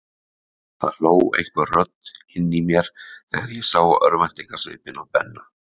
Það hló einhver rödd inni í mér þegar ég sá örvæntingarsvipinn á Benna.